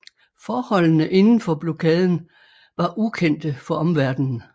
Forholdene inden for blokaden var ukendte for omverdenen